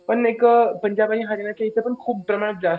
पण एक पंजाब आणि हरियाणा जास्त